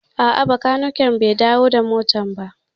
A'a, bakaniken bai dawo da motar ba